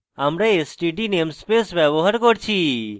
আমরা std namespace ব্যবহার করেছি